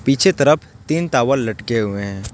पीछे तरफ तीन टावल लटके हुए हैं।